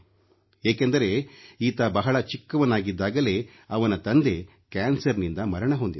ಏಕೆಂದರೆ ಈತ ಬಹಳ ಚಿಕ್ಕವನಿದ್ದಾಗಲೇ ಅವನ ತಂದೆ ಕ್ಯಾನ್ಸರ್ನಿಂದ ಮರಣ ಹೊಂದಿದರು